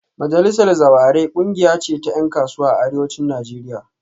Majalisar Zawarai kungiya ce ta yan kasuwa a Arewacin Najeriya